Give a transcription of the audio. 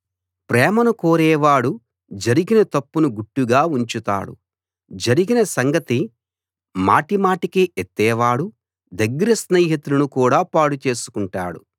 ప్రేమను కోరేవాడు జరిగిన తప్పును గుట్టుగా ఉంచుతాడు జరిగిన సంగతి మాటిమాటికీ ఎత్తేవాడు దగ్గర స్నేహితులను కూడా పాడు చేసుకుంటాడు